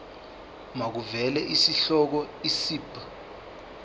makuvele isihloko isib